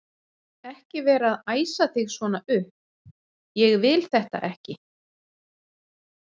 ekki vera að æsa þig svona upp. ég vil þetta ekki!